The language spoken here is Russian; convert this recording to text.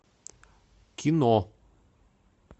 кино